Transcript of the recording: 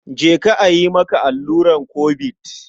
Je ka a yi maka alluran Kobid.